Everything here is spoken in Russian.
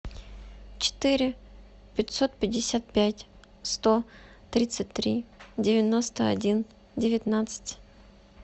четыре пятьсот пятьдесят пять сто тридцать три девяносто один девятнадцать